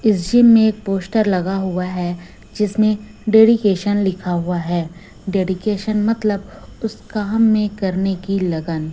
इस जिम मे एक पोस्टर लगा हुआ है जिसमें डेडीकेशन लिखा हुआ है डेडीकेशन मतलब उस काम में करने की लगन।